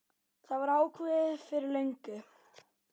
Það var ákveðið fyrir löngu.